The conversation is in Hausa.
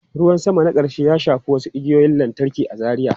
Ruwan sama na ƙarshe ya shafi wasu igiyoyin lantarki a Zaria.